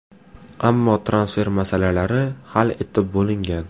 Ammo transfer masalalari hal etib bo‘lingan.